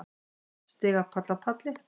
Stigapall af palli.